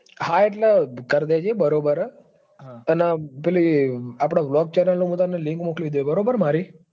હા એટલે કરી લેજે બરાબર હ. અન પેલી આપડે bolg channel ની હું link મોકલી દયે બરાબર મારી.